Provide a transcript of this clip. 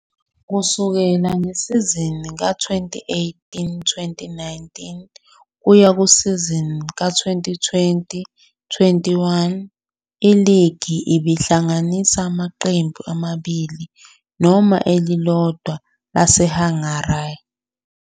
Kusukela ngesizini ka-2018-19 kuya kusizini ka-2020-21, iligi ibihlanganisa amaqembu amabili noma elilodwa laseHungary.